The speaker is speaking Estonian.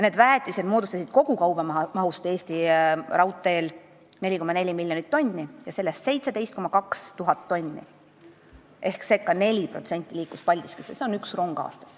Väetist veeti kogu Eesti raudteel 4,4 miljonit tonni ja sellest 17 200 tonni ehk ca 4% veeti Paldiskisse.